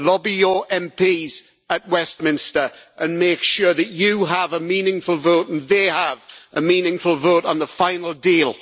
Lobby your MPs at Westminster, and make sure that you have a meaningful vote and they have a meaningful vote on the final deal.